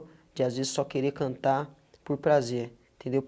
De as vezes só querer cantar por prazer, entendeu?